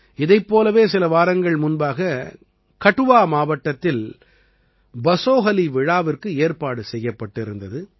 இதைப் போலவே சில வாரங்கள் முன்பாக கடுவா மாவட்டத்தில் பஸோஹலி விழாவிற்கு ஏற்பாடு செய்யப்பட்டிருந்தது